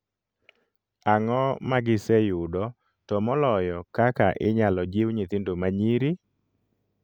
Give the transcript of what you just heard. Ang'o magise yudo to moloyo kaka inyalo jiw nyithindo manyiri?